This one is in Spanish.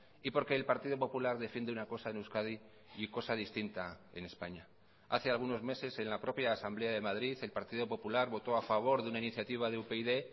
y porque el partido popular defiende una cosa en euskadi y cosa distinta en españa hace algunos meses en la propia asamblea de madrid el partido popular votó a favor de una iniciativa de upyd